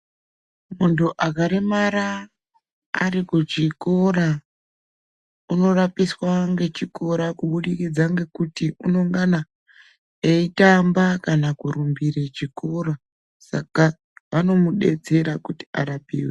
Muntu akaremara ari kuchikora unorapiswa ngechikora kubudikidza ngekuti unengana eitamba kana kurumbire chikora saka vanomudetsera kuti arapiwe.